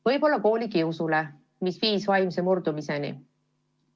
Võib-olla on just koolikius viinud nad vaimse murdumiseni.